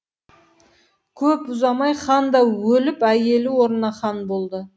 көп ұзамай хан да өліп әйелі орнына хан болады